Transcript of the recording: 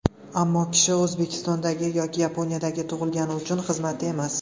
Ammo kishi O‘zbekistonda yoki Yaponiyada tug‘ilgani uning xizmati emas.